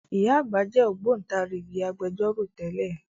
Ìyá àgbà jẹ́ Ògbóntarìgì Agbẹjọ́rò tẹ́lẹ̀